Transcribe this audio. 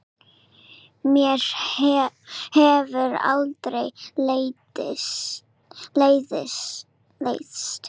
Mér hefur aldrei leiðst.